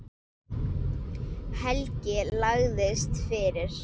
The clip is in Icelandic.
Helgi lagðist fyrir.